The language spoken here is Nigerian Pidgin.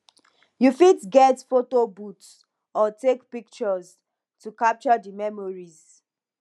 you fit get photo booth or take pictures to capture di memories